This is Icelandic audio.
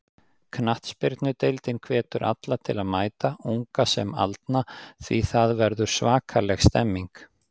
Knattspyrnudeildin hvetur alla til að mæta, unga sem aldna því það verður svakaleg stemning.